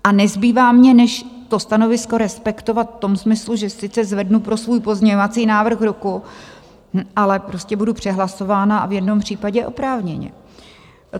A nezbývá mně, než to stanovisko respektovat v tom smyslu, že sice zvednu pro svůj pozměňovací návrh ruku, ale prostě budu přehlasována, a v jednom případě oprávněně.